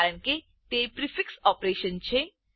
કારણ કે તે પ્રીફિક્સ ઓપરેશન છે